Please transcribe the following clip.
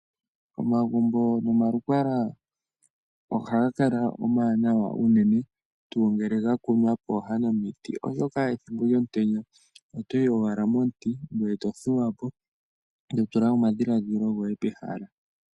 Omagumbo nomalukalwa ohaga kala omawanawa unene tu ngele ga kunwa pooha dhomiti, oshoka ethimbo lyomutenya oto yi owala momuti ngoye to thuwa po, to tula omadhilaadhilo goye pehala.